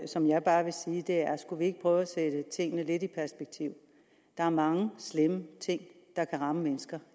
som jeg bare vil sige er skulle vi ikke prøve at sætte tingene lidt i perspektiv der er mange slemme ting der kan ramme mennesker